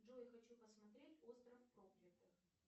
джой хочу посмотреть остров проклятых